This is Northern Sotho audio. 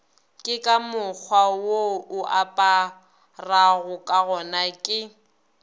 ke ka mokgwawo oaparagokagona ke